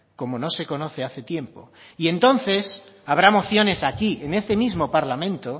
como no se conoce hace tiempo y entonces habrá mociones aquí en este mismo parlamento